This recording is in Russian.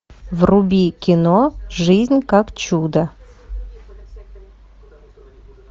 вруби кино жизнь как чудо